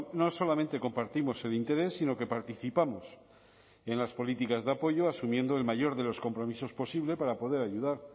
no solamente compartimos el interés sino que participamos en las políticas de apoyo asumiendo el mayor de los compromisos posibles para poder ayudar